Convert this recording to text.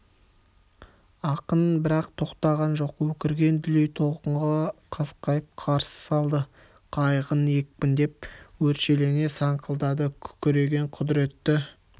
ақын бірақ тоқтаған жоқ өкірген дүлей толқынға қасқайып қарсы салды қайығын екпіндеп өршелене саңқылдады күркіреген құдіретті